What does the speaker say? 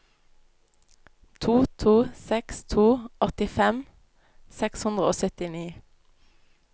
to to seks to åttifem seks hundre og syttini